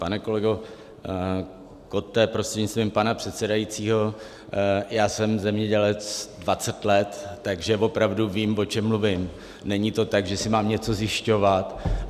Pane kolego Kotte, prostřednictvím pana předsedajícího, já jsem zemědělec 20 let, takže opravdu vím, o čem mluvím, není to tak, že si mám něco zjišťovat.